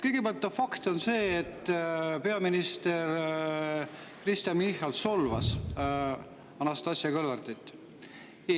Kõigepealt, fakt on see, et peaminister Kristen Michal solvas Anastassia Kõlvartit.